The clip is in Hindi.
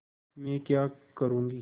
मैं क्या करूँगी